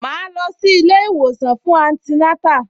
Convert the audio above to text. Màá lọ sí ilé-ìwòsàn fún antinátà